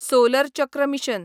solar चक्र mission